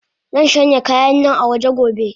Zanshanya kayannan awaje gobe.